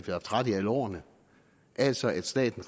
haft ret i alle årene altså at staten